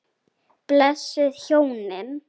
Blessuð hjónin.